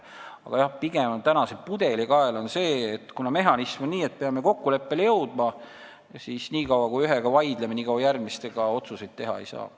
Aga jah, pigem on pudelikael see mehhanism, et me peame kokkuleppele jõudma: nii kaua, kuni me ühega vaidleme, järgmiseid otsuseid teha ei saa.